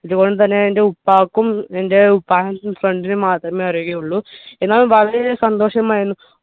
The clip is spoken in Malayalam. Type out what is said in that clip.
ഇത് പോലെ തന്നെ എന്റെ ഉപ്പാക്കും എൻ്റെ ഉപ്പാന്റെ friend നും മാത്രമേ അറിയുകയുള്ളൂ എന്നാൽ വളരെയധികം സന്തോഷം ആയിരുന്നു